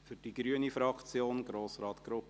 – Für die grüne Fraktion: Grossrat Grupp.